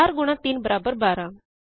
4 ਗੁਣਾ 3 ਬਰਾਬਰ 12